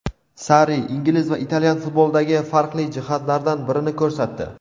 Sarri ingliz va italyan futbolidagi farqli jihatlardan birini ko‘rsatdi.